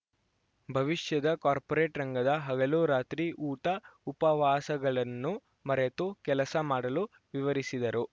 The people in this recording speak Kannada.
ಭವಿಷ್ಯದ ಕಾರ್ಪೋರೇಟ್‌ ರಂಗದ ಹಗಲುರಾತ್ರಿ ಊಟಉಪವಾಸಗಳನ್ನು ಮರೆತು ಕೆಲಸ ಮಾಡಲು ವಿವರಿಸಿದರು